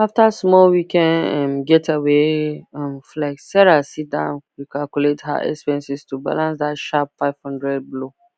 after small weekend um getaway um flex sarah sit down recalculate her expenses to balance that sharp 500 blow